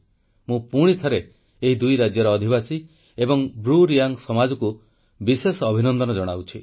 ମୁଁ ପୁଣିଥରେ ଏହି ଦୁଇ ରାଜ୍ୟର ଅଧିବାସୀ ଏବଂ ବ୍ରୁରିୟାଙ୍ଗ୍ ସମାଜକୁ ବିଶେଷ ଅଭିନନ୍ଦନ ଜଣାଉଛି